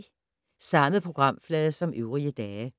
Samme programflade som øvrige dage